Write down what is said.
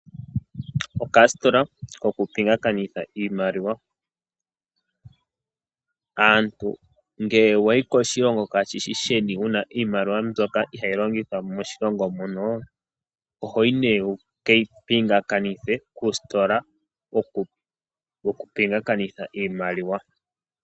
Okasitola kokupingakanitha iimaliwa Aantu ngele wayi koshilongo kashi shi sheni wuna iimaliwa mbyoka ihayi longithwa moshilongo monoo, ohoyi nee wu keyi pingakanithe kuusitola wokupingakanitha iimaliwa.